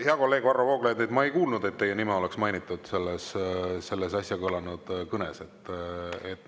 Hea kolleeg Varro Vooglaid, ma ei kuulnud, et teie nime oleks mainitud selles äsja kõlanud kõnes.